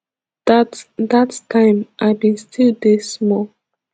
dat dat time i bin still dey small